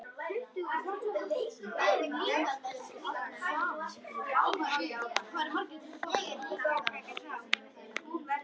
Hann hugsaði málið.